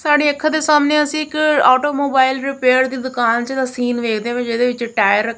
ਸਾਡੀਆਂ ਅੱਖਾਂ ਦੇ ਸਾਹਮਣੇ ਅਸੀ ਇੱਕ ਓਟੋ ਮੋਬਾਈਲ ਰਿਪੇਅਰ ਦੀ ਦੁਕਾਨ ਚ ਸੀਨ ਵੇਖਦੇ ਪਏ ਜਿਹਦੇ ਵਿੱਚ ਟਾਇਰ --